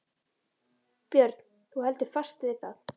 Björn: Þú heldur fast við það?